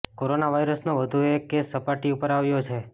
corona વાયરસનો વધુ એક કેસ સપાટી ઉપર આવ્યો છે